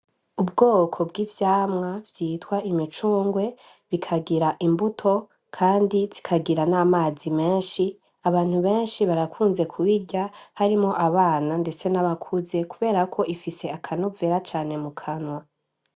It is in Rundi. Ubwoko bw'ivyamwa vyitwa imicungwe bikagira imbuto, kandi zikagira n'amazi menshi abantu benshi barakunze kubirya harimo abana, ndetse n'abakuze kuberako ifise akanuvera cane mu kanwa.